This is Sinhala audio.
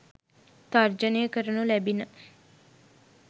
තර්ජනය කරනු ලැබිණ.